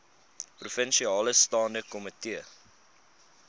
provinsiale staande komitee